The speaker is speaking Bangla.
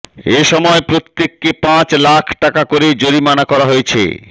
এসময় প্রত্যেককে পাঁচ লাখ টাকা করে জরিমানা করা হয়েছে